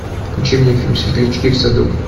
включи мне фильм светлячки в саду